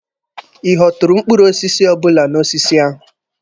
Ị ghọturu mkpụrụ osisi ọbụla n'osisi ahụ?